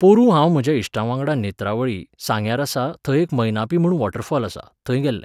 पोरूं हांव म्हज्या इश्टांवांगडा नेत्रावळी, सांग्यार आसा, थंय एक मैनापी म्हूण वॉटरफॉल आसा, थंय गेल्लें.